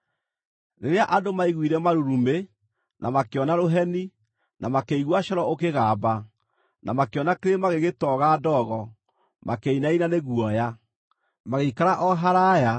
Rĩrĩa andũ maiguire marurumĩ, na makĩona rũheni, na makĩigua coro ũkĩgamba, na makĩona kĩrĩma gĩgĩtoga ndogo, makĩinaina nĩ guoya. Magĩikara o haraaya,